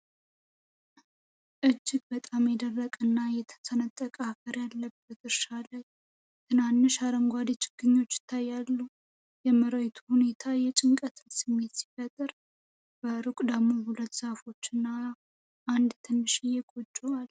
እጅግ በጣም የደረቀና የተሰነጠቀ አፈር ያለበት እርሻ ላይ ትናንሽ አረንጓዴ ችግኞች ይታያሉ። የመሬቱ ሁኔታ የጭንቀት ስሜትን ሲፈጥር፣ በሩቅ ደግሞ ሁለት ዛፎች እና አንድ ትንሽ ጎጆ አለ።